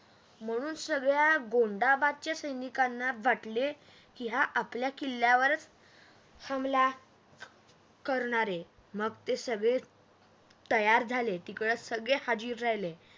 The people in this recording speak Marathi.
म्हणून सगळया गोंधाबादच्या सैनिकांना वाटले की हा आपल्या किल्ल्यावरच हमला करणार आहे मग ते सगळे तयार झाले तिकडे हाजीर झाले